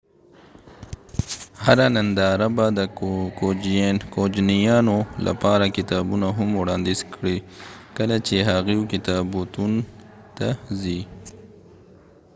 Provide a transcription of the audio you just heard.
هره ننداره به د کوجنیانو لپاره کتابونه هم وړانديز کړي کله چې هغوي کتابتون ته ځي